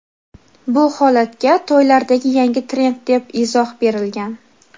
Bu holatga to‘ylardagi yangi trend deb izoh berilgan.